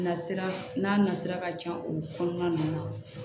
Nasira n'a nasira ka can olu kɔnɔna ninnu na